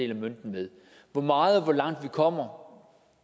af mønten med hvor meget og hvor langt vi kommer